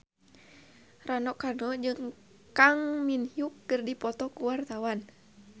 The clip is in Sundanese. Rano Karno jeung Kang Min Hyuk keur dipoto ku wartawan